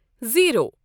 zero